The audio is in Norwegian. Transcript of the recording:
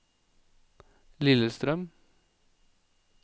Lillestrøm